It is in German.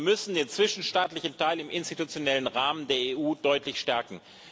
Wir müssen den zwischenstaatlichen Teil im institutionellen Rahmen der EU deutlich stärken.